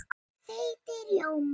Þeytið rjóma.